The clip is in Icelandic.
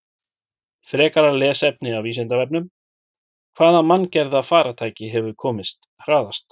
Frekara lesefni af Vísindavefnum: Hvaða manngerða farartæki hefur komist hraðast?